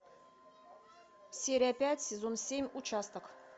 серия пять сезон семь участок